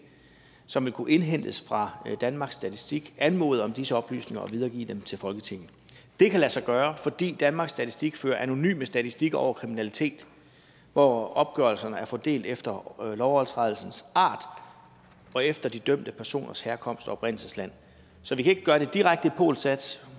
som vil kunne indhentes fra danmarks statistik anmode om disse oplysninger og videregive dem til folketinget det kan lade sig gøre fordi danmarks statistik fører anonyme statistikker over kriminalitet hvor opgørelserne er fordelt efter lovovertrædelsens art og efter de dømte personers herkomst og oprindelsesland så vi kan ikke gøre det direkte i polsas